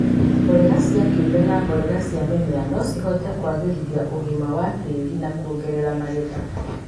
mborera cia kĩũmbe na mborera cia mĩmera, no kũhote kũagĩrithia ũgima wa tĩri na kuongerera magetha.